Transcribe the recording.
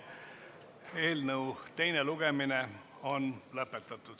Eelnõu teine lugemine on lõpetatud.